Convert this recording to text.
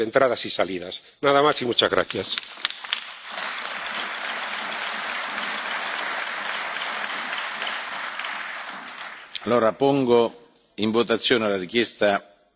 Pongo in votazione la richiesta del gruppo Verts ALE, che chiede di rinviare la discussione sul sistema di ingressi uscite, prevista